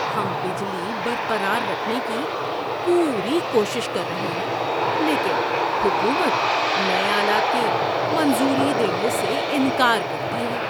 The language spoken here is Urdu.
ہم بجلی برقرار رکھنے کی پوری کوشش کر رہے ہیں لیکن حکومت نئے آلات کی منظوری دینے سے انکار کرتی ہے۔